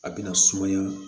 A bina sumaya